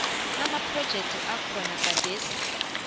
amaprojekthi akhona gadesi